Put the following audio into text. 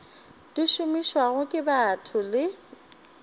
di šomišwago ke batho le